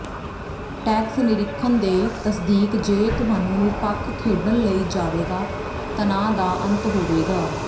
tax ਨਿਰੀਖਣ ਦੇ ਤਸਦੀਕ ਜੇ ਤੁਹਾਨੂੰ ਨਿਰਪੱਖ ਖੇਡਣ ਲਈ ਜਾਵੇਗਾ ਤਣਾਅ ਦਾ ਅੰਤ ਹੋਵੇਗਾ